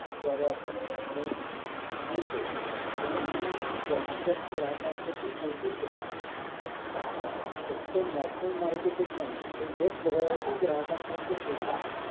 द्वारे आपण online घेतो तेव्हा तुम्ही जास्तीत जास्त ग्राहकां परियंत पोहोचू शकता फक्त national market नाही तर जगभरातील ग्राहकांपर्यंत पोहोचू शकता.